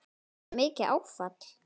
Var þetta mikið áfall?